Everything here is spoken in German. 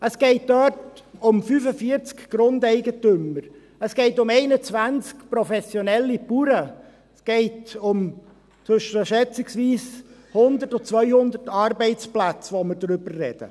Es geht dort um 45 Grundeigentümer, es geht um 21 professionelle Bauern, es geht um schätzungsweise zwischen 100 bis 200 Arbeitsplätze, über welche wir sprechen!